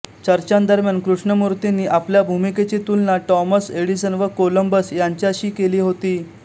चर्चांदरम्यान कृष्णमूर्तींनी आपल्या भूमिकेची तुलना टॉमस एडिसन व कोलंबस यांच्याशी केली होती